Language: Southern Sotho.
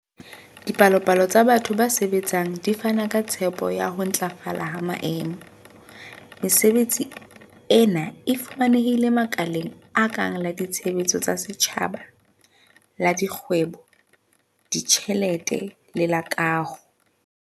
Dipalopalo tsa batho ba sebetsang di fana ka tshepo ya ho ntlafala ha maemo. Mesebetsi ena e fumanehile makaleng a kang la ditshebeletso tsa setjhaba, la dikgwebo, ditjhelete le la kaho.